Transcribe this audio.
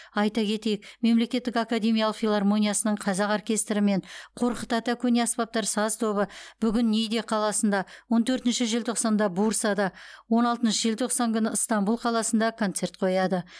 айта кетейік мемлекеттік академиялық филармониясының қазақ оркестрі мен қорқыт ата көне аспаптар саз тобы бүгін ниде қаласында он төртінші желтоқсанда бурсада он алтыншы желтоқсан күні ыстанбұл қаласында концерт қояды